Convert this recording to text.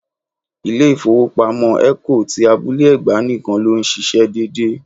Ilé ifowopamo Eco ti Abúlé-Ẹ̀gbá nìkan ló ń ṣíṣe dédé.